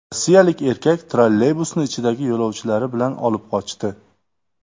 Rossiyalik erkak trolleybusni ichidagi yo‘lovchilari bilan olib qochdi.